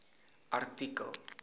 artikel